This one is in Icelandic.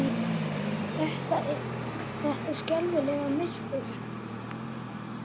Þetta skelfilega myrkur!